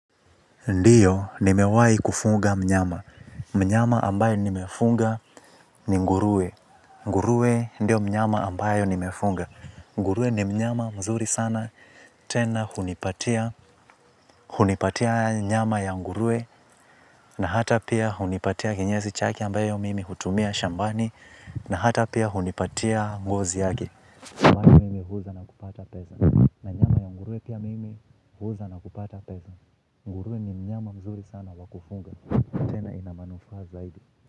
Ndiyo, nimewai kufuga mnyama. Mnyama ambayo nimefuga ni nguruwe. Nguruwe ndio mnyama ambayo nimefuga. Ngurue ni mnyama mzuri sana. Tena hunipatia nyama ya nguruwe na hata pia hunipatia kinyezi chake ambayo mimi hutumia shambani na hata pia hunipatia ngozi yake. Huwa pia mimi huuza na kupata pesa. Nguruwe ni mnyama mzuri sana wa kufuga tena ina manufaa zaidi.